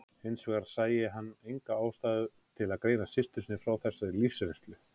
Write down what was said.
Hins vegar sæi hann enga ástæðu til að greina systur sinni frá þessari lífsreynslu.